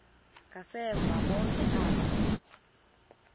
ngasemva bonke aba